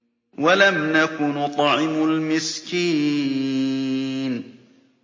وَلَمْ نَكُ نُطْعِمُ الْمِسْكِينَ